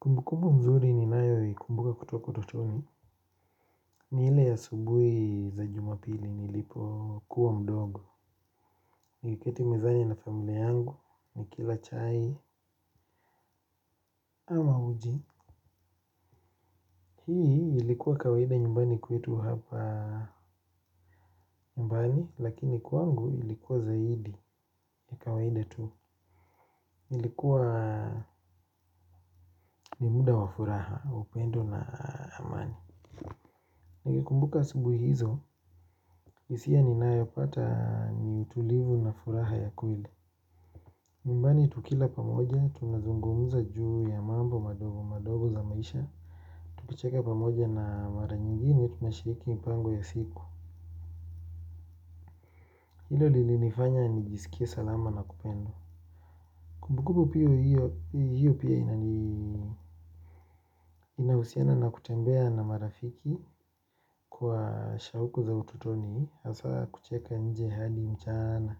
Kumbukumbu mzuri ninayo ikumbuka kutoka utotoni, ni ile ya asubuhi za jumapili nilipokuwa mdogo. Nikiketi mezani na familia yangu, nikila chai ama uji. Hii ilikuwa kawaida nyumbani kwetu hapa nyumbani, lakini kwangu ilikuwa zaidi ya kawaida tu. Ilikuwa ni muda wa furaha wa upendo na amani. Nikikumbuka asubuhi hizo, hisia ninayo pata ni utulivu na furaha ya kweli. Nyumbani tukila pamoja tunazungumza juu ya mambo madogo madogo za maisha. Tukicheka pamoja na mara nyingine tunashiriki mpango ya siku. Hilo lilinifanya nijisikie salama na kupendwa. Kumbukumbu pia hiyo pia inahusiana na kutembea na marafiki kwa shauku za utotoni hasa kucheka nje hadi mchana,